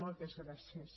moltes gràcies